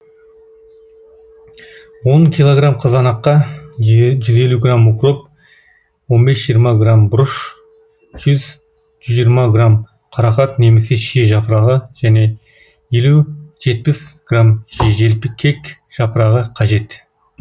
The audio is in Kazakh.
он килограмм қызанаққа жүз елу грамм укроп он бес жиырма грамм бұрыш жүз жүз жиырма грамм қарақат немесе шие жапырағы және елу жетпіс грамм желкек жапырағы қажет